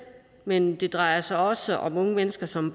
men det drejer sig også om unge mennesker som